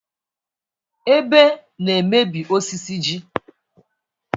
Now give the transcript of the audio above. Ebe na-emebi osisi ji.